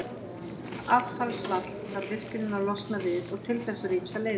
Þetta affallsvatn þarf virkjunin að losna við, og til þess eru ýmsar leiðir.